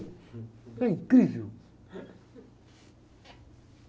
É incrível.